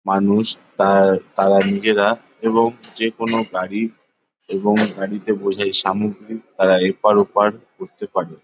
মানুষ তার তারা নিজেরা এবং যেকোনো গাড়ি এবং গাড়িতে বসে সামগ্রী তারা এপার ওপার করতে পারে।